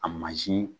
A mansin